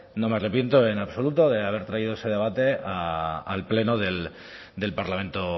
no me arrepiento en absoluto de haber traído ese debate al pleno del parlamento